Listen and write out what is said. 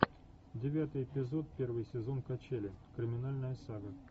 девятый эпизод первый сезон качели криминальная сага